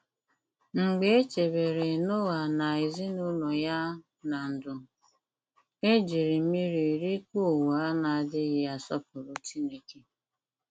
Mgbe e chebere Noa na ezinụlọ ya ná ndụ, e ji mmiri rikpuo ụwa na-adịghị asọpụrụ Chineke.